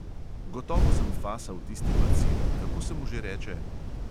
Gotovo sem fasal tisti bacil, kako se mu že reče?